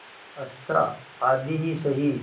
अच्छा आधी ही सही